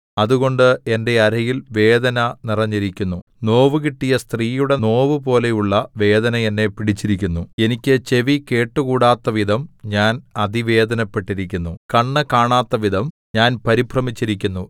അതുകൊണ്ട് എന്റെ അരയിൽ വേദന നിറഞ്ഞിരിക്കുന്നു നോവുകിട്ടിയ സ്ത്രീയുടെ നോവുപോലെയുള്ള വേദന എന്നെ പിടിച്ചിരിക്കുന്നു എനിക്ക് ചെവി കേട്ടുകൂടാത്തവിധം ഞാൻ അതിവേദനപ്പെട്ടിരിക്കുന്നു കണ്ണ് കാണാത്തവിധം ഞാൻ പരിഭ്രമിച്ചിരിക്കുന്നു